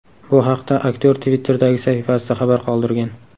Bu haqda aktyor Twitter’dagi sahifasida xabar qoldirgan .